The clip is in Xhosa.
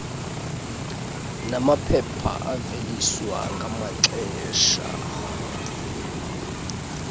namaphepha aveliswa ngamaxesha